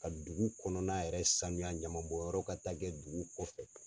Ka dugu kɔnɔna yɛrɛ sanuya ɲaman bɔn yɔrɔ ka taa kɛ dugu kɔfɛ.